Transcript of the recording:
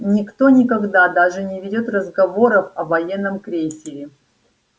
никто никогда даже не ведёт разговоров о военном крейсере